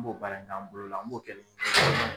N b'o baara k'an bolo la an b'o kɛ ni